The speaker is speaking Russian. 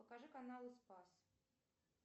покажи каналы спас